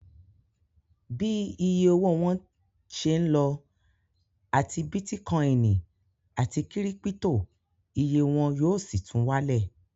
Bí iye owó wọn ń ṣé lọ, àti bítíkọìnì àti kírípítò, iye wọn yóò sì tún wálẹ̀